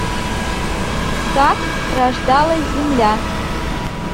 как рождалась земля